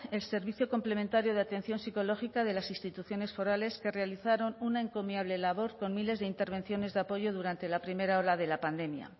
el servicio complementario de atención psicológica de las instituciones forales que realizaron una encomiable labor con miles de intervenciones de apoyo durante la primera ola de la pandemia